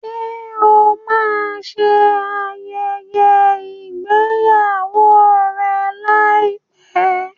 Ṣé o máa ṣe ayẹyẹ ìgbéyàwó ẹ láìpẹ́?